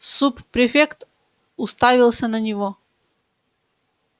суб-префект уставился на него